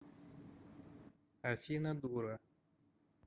афина дура